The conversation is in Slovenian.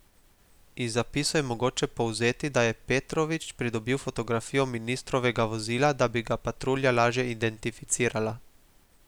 Iz zapisov je mogoče povzeti, da je Petrovič pridobil fotografijo ministrovega vozila, da bi ga patrulja lažje identificirala.